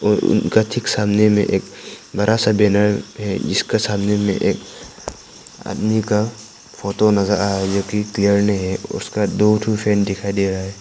और उनका ठीक सामने में एक बड़ा सा बैनर है जिसका सामने में एक आदमी का फोटो नजर आ रहा है जोकि क्लियर नहीं है उसका दो ठो फ्रेंड दिखाई दे रहा है।